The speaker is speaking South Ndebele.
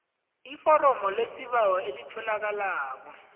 iforomo lesibawo elitholakala